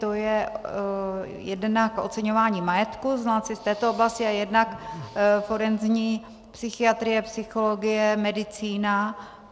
To je jednak oceňování majetku znalci z této oblasti a jednak forenzní psychiatrie, psychologie, medicína.